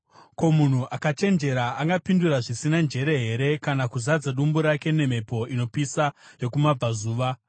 “Ko, munhu akachenjera angapindura zvisina njere here, kana kuzadza dumbu rake nemhepo inopisa yokumabvazuva?